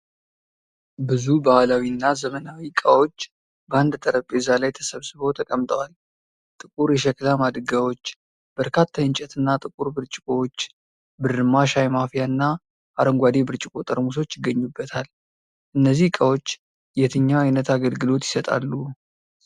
ብዙ ባህላዊ እና ዘመናዊ ዕቃዎች በአንድ ጠረጴዛ ላይ ተሰብስበው ተቀምጠዋል። ጥቁር የሸክላ ማድጋዎች፣ በርካታ የእንጨትና ጥቁር ብርጭቆዎች፣ ብርማ ሻይ ማፍያ እና አረንጓዴ ብርጭቆ ጠርሙሶች ይገኙበታል። እነዚህ ዕቃዎች የትኛው አይነት አገልግሎት ይሰጣሉ?